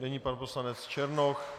Nyní pan poslanec Černoch.